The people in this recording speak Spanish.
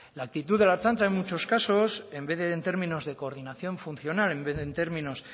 la actitud de la ertzaintza en muchos casos en vez en términos de coordinación funcional en vez de en términos